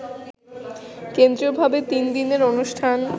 কেন্দ্রীয়ভাবে তিন দিনের অনুষ্ঠান